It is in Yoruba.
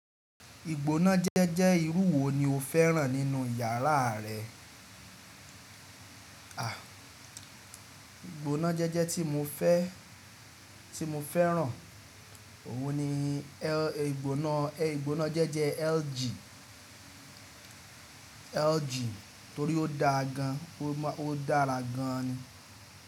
Ìgbóná jẹ́jẹ́ irú wo ni o fẹ́ràn nínú iyàrá rẹ? Ìgbóná jẹ́jẹ́ tí mo fẹ́, tí mo fẹ́ràn, òun ni ẹ́, ìgbóná, ìgbóná jẹ́jẹ́ LG, LG torí ó dáa gan, ó máa, ó dára gan ni.